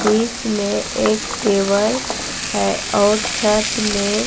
बीच में एक टेबल है और छत में--